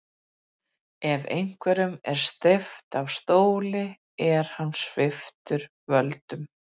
Hvers kyns verkmenning var Kristjáni hugleikin.